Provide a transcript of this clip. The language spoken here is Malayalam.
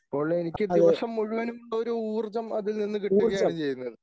അപ്പോൾ എനിക്ക് ദിവസം മുഴുവനും ഒരു ഊർജ്ജം അതിൽ നിന്ന് കിട്ടുകയാണ് ചെയ്യുന്നത്.